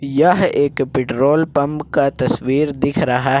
यह एक petrol pump का तस्वीर दिख रहा है।